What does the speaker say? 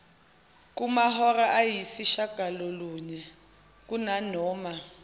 kumahora ayisishiyagalolunye kunanoma